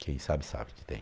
Quem sabe, sabe que tem.